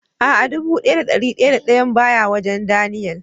A'a, dubu daya da dari daya da dayan baya wajen "Daniel".